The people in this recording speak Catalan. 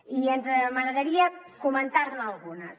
i m’agradaria comentarne algunes